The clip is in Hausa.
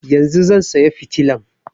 Yanzun zan saya fitilan